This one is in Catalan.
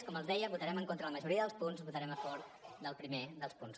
com els deia votarem en contra de la majoria dels punts votarem a favor del primer dels punts